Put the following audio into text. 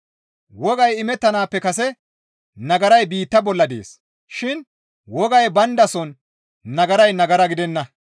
Wogay imettanaappe kase nagaray biitta bolla dees shin wogay bayndason nagaray nagara gidenna.